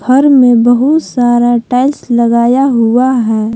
घर में बहुत सारा टाइल्स लगाया हुआ है।